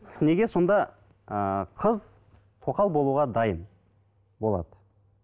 неге сонда ыыы қыз тоқал болуға дайын болады